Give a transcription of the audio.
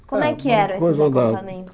Como é que eram esses acampamentos?